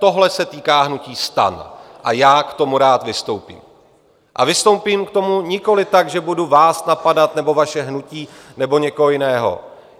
Tohle se týká hnutí STAN a já k tomu rád vystoupím, a vystoupím k tomu nikoli tak, že budu vás napadat nebo vaše hnutí nebo někoho jiného.